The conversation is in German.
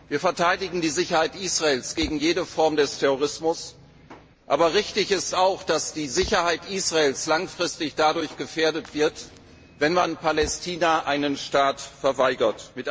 Wir verteidigen die Sicherheit Israels gegen jede Form des Terrorismus, aber richtig ist auch, dass die Sicherheit Israels langfristig gefährdet wird, wenn man Palästina einen Staat verweigert.